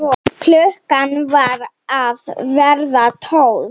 Klukkan var að verða tólf.